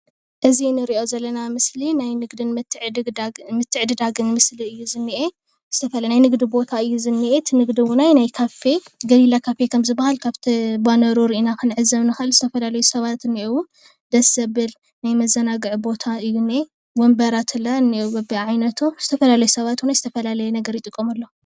እዚ ምስሊ ሰባት ኮፍ ኢሎም ዝዘናግዕሉ ካፌ እዩ።